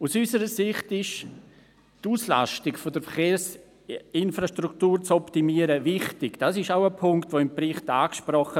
Die Optimierung der Auslastung der Verkehrsinfrastruktur ist für uns sehr wichtig, auch dieser Aspekt wird im Bericht angesprochen.